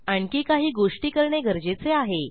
आणखी काही गोष्टी करणे गरजेचे आहे